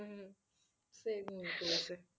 হম সে ঘুমিয়ে পড়েছে।